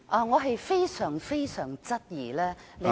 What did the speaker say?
我非常質疑你有......